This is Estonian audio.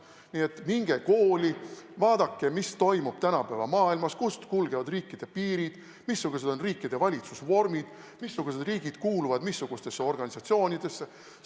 Nii et minge kooli, vaadake, mis toimub tänapäeva maailmas, kust kulgevad riikide piirid, missugused on riikide valitsusvormid, mis riigid kuuluvad mis organisatsioonidesse!